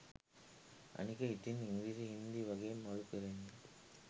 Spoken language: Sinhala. අනික ඉතින් ඉංග්‍රීසි හින්දි වගේ මලු පිරෙන්න